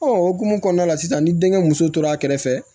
o hukumu kɔnɔna la sisan ni denkɛ muso tora a kɛrɛfɛ